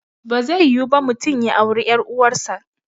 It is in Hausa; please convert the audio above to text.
Bazai yiwu ba mutum ya auri ƴar uwar sa